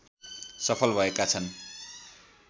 सफल भएका छन्